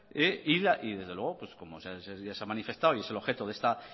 de la cultura y desde luego como ya se ha manifestado y es el objeto de esta